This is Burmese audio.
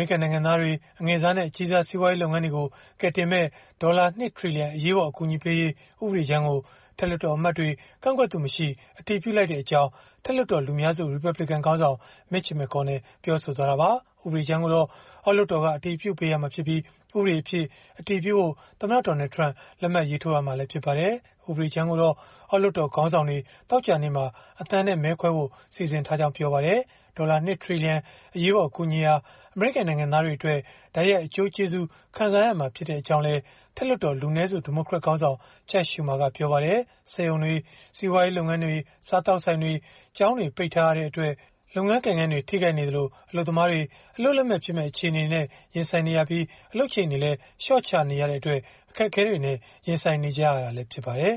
ေရိကန် နိုင်ငံသားတွေ၊ အငယ်စားနဲ့ အကြီးစား စီးပွားရေး လုပ်ငန်းတွေကို ကယ်တင်မယ့် ဒေါ်လာ ၂ ထီလီယံ အရေးပေါ် အကူအညီပေးရေး ဥပဒေကြမ်းကို အထက်လွှတ်တော်အမတ်တွေ ကန့်ကွက်သူမရှိ အတည်ပြုလိုက်ကြောင်း” အထက်လွှတ်တော် လူများစု ရီပတ်ဘလစ်ကန်ခေါင်းဆောင် Mitch McConnell ပြောဆိုသွားတာပါ။ ဥပဒေကြမ်းကိုတော့ အောက်လွှတ်တော်က အတည်ပြုပေးရမှာဖြစ်ပြီး ဥပဒေအဖြစ် အတည်ပြုဖို့ သမ္မတ Donald Trump လက်မှတ်ရေးထိုးရမှာ ဖြစ်ပါတယ်။ ဥပဒေကြမ်းကိုတော့ အောက်လွှတ်တော် ခေါင်းဆောင်တွေ သောကြာနေ့မှာ အသံနဲ့ မဲခွဲဖို့ စီစဉ်ထားကြောင်း ပြောပါတယ်။ ဒေါ်လာ ၂ ထီလီယံ အရေးပေါ် အကူအညီဟာ အမေရိကန် နိုင်ငံသားတွေအတွက် တိုက်ရိုက်အကျိုးကျေးဇူး ခံစားရမှာ ဖြစ်ကြောင်းလည်း အထက်လွှတ်တော် လူနည်းစု ဒီမိုကရက်ခေါင်းဆောင် Chuck Schumer ကပြောပါတယ်။ စက်ရုံတွေ၊ စီးပွားရေး လုပ်ငန်းတွေ၊ စားသောက်ဆိုင်တွေ၊ ကျောင်းတွေ ပိတ်ထားရတဲ့အတွက် လုပ်ငန်းကိုင်ငန်းတွေ ထိခိုက်နေသလို၊ အလုပ်သမားတွေ အလုပ်လက်မဲ့ဖြစ်မယ့် အခြေအနေနဲ့ ရင်ဆိုင်နေရသလို အလုပ်ချိန်တွေလည်း လျှော့ချနေရတဲ့အတွက် အခက်အခဲတွေနဲ့ ရင်ဆိုင်နေကြရတာ ဖြစ်ပါတယ်